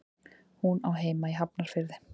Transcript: Hún á heima í Hafnarfirði.